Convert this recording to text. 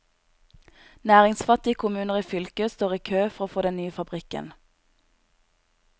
Næringsfattige kommuner i fylket står i kø, for å få den nye fabrikken.